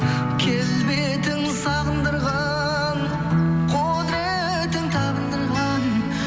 келбетің сағындырған құдыретің табындырған